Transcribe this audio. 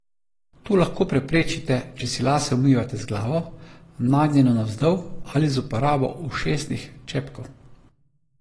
To lahko preprečite, če si lase umivate z glavo, nagnjeno navzdol, ali z uporabo ušesnih čepkov.